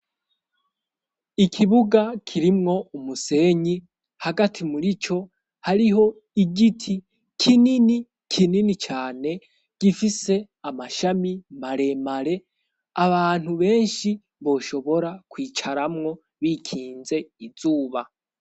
Ikibuga kirimwo umusenyi hagati muri co hariho igiti kinini, kinini cane gifise amashami maremare abantu benshi boshobora kwicaramwo bikinze izuba.